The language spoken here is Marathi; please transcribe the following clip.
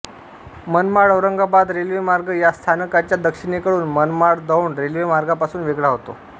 मनमाडऔरंगाबाद रेल्वेमार्ग या स्थानकाच्या दक्षिणेकडून मनमाडदौंड रेल्वेमार्गापासून वेगळा होतो